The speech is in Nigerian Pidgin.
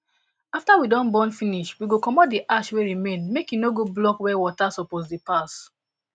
after we don burn finish we go comot the ash wey remain make e no go block where water suppose dey pass